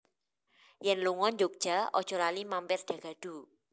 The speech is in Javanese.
Yen lungo Njogja ojo lali mampir Dagadu